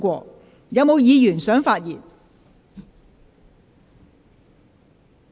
是否有議員想發言？